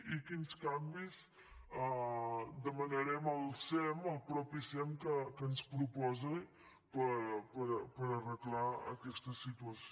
i quins canvis demanarem al sem al mateix sem que ens proposi per arreglar aquesta situació